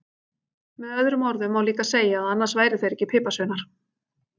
Með öðrum orðum má líka segja að annars væru þeir ekki piparsveinar!